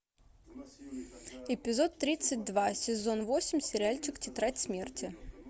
эпизод тридцать два сезон восемь сериальчик тетрадь смерти